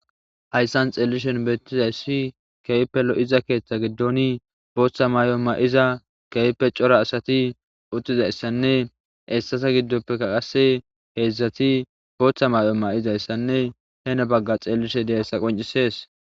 Hayssan xeellishen beettizayssi keype lo7iza keeththa giddoni booththa may7o ma7iza keype cora asati uttizayssanne essasa giddoppeka qase heedzdzati booththa may7o ma7izayssanne hene bagga xellishe diyayssa qoncisees